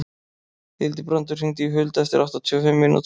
Hildibrandur, hringdu í Huld eftir áttatíu og fimm mínútur.